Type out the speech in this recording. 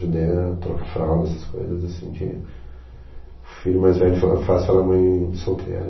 Ajudei a trocar fralda, essas coisas, assim, que o filho mais velho fa faz pela mãe solteira.